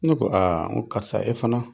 Ne ko aa n ko karisa e fana